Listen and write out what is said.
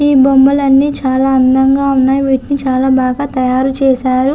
ఈ బొమ్మలన్నీ చాలా అందంగా ఉన్నాయి వీటిని చాలా బాగా తయారు చేశారు.